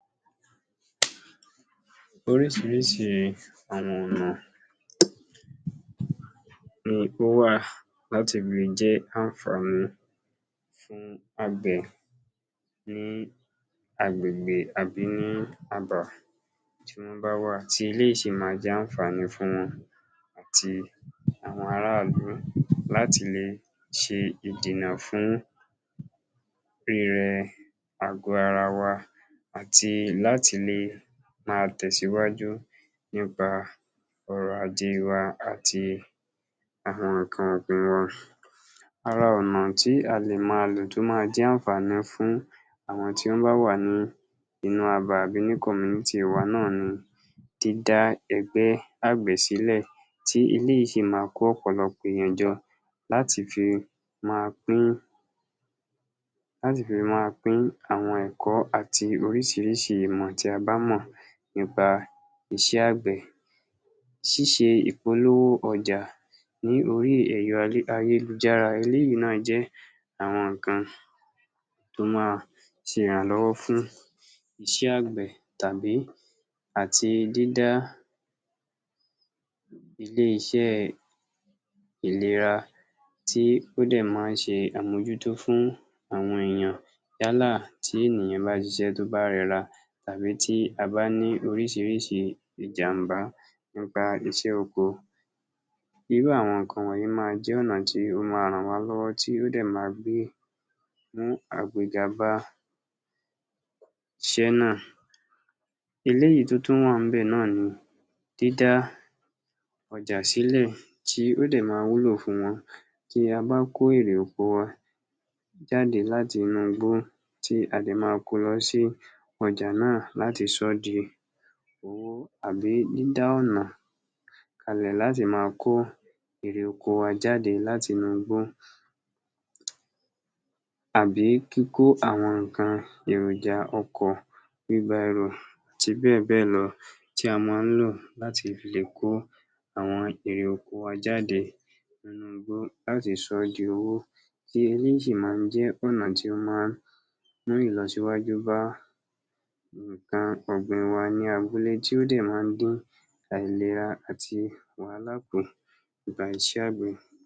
Oríṣiríṣi àwọn ọ̀nà ni ó wà láti fi jẹ́ àǹfàní àgbẹ̀ ní agbègbè àbí ní abà tí ọ́n bá wà, tí eléyìí sì máa jẹ́ àǹfàní fún wọn àti àwọn ara ìlú láti lè ṣe ìdènà fún um àgò ara wa àti láti lè máa tẹ̀síwájú nípa ọrọ̀-ajé wa àti àwọn nǹkan. àwọn ọ̀nà tí a lè máa lò tó máa jẹ́ àǹfàní fún àwọn tí ó bá wà nínú abà àbí ní community wa náà ni dídá ẹgbẹ́ àgbẹ̀ sílẹ̀ tí eléyìí sì máa kó ọ̀pọ̀lọpọ̀ ènìyàn jọ láti fi máa pín, láti fi máa pín àwọn nǹkan àti oríṣiríṣi ìmọ̀ tí a bá mọ̀ nípa iṣẹ́ àgbẹ̀. ṣíṣe ìpolówó ọjà ní orí ẹ̀rọ ayélujára eléyìí ló máa jẹ́ àwọn nǹkan tó máa ṣe ìrànlọ́wọ́ fún iṣẹ́ àgbẹ̀ tàbí àti dídá ilé-iṣẹ́ ìlera tí ó dẹ̀ máa ń ṣe àmójútó fún àwọn ènìyàn yálà tí ènìyàn bá ṣiṣẹ́ tó bá rẹ’ra tàbí tí a bá ní oríṣiríṣi ìjàmbá nípa iṣẹ́ oko. Irú àwọn nǹkan wọ̀nyí máa jẹ́ àwọn ọ̀nà tí ó máa ràn waa lọ́wọ́ tí ó dẹ̀ máa gbé mú bá iṣẹ́ náà. Eléyìí tó tún wà ńbẹ̀ ni dídá ọjà sílẹ̀ tí ó dẹ̀ máa wúlò fún wa tí a bá kó èrè oko wa jáde láti inú igbó tí a dẹ̀ máa ko wá sí ọjà náà láti sọ́ di owó àbí dídá ọ̀nà láti máa kó èrè oko wa jáde láti inú igbó àbí kíkó àwọn nǹkan èròjà ọkọ̀, àti bẹ́ẹ̀ bẹ́ẹ̀ lọ tí a máa ń yàn láti fi lè kó àwọn èrè oko wa jáde nínú igbó láti sọ́ di owó sì máa ń jẹ́ ọ̀nà tí ó máa ń mú ìlọsíwájú bá nǹkan ọ̀gbìn wa ní abúlé tí ó dẹ̀ máa ń dín àìlera àti wàhálà kù nípa iṣẹ́ àgbẹ̀.